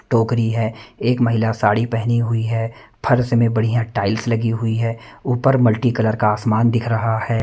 टोकरी है एक महिला साड़ी पहनी हुई है फर्स में बढ़िया टाइल्स लगी हुई है ऊपर मल्टीकलर का आसमान दिख रहा है।